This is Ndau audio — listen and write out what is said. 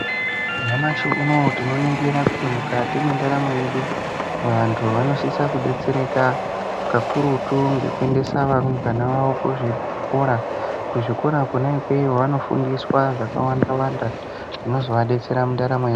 Nyamashi unouwu tinoningira kuti mukati mwendaramo yedu vanthu vanosisa kudetsereka kakurutu ngekuendesa varumbana vavo kuzvikora. Kuzvikora kona ikweyo vanofundiswa zvakawandawanda zvinozovadetsera mundaramo ya..